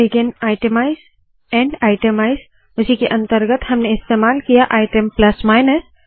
begin itemize end itemize उसी के अंतर्गत हमने इस्तेमाल किया आइटम प्लस माइनस